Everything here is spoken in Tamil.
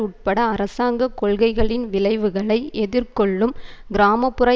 உட்பட அரசாங்க கொள்கைகளின் விளைவுகளை எதிர்கொள்ளும் கிராம புற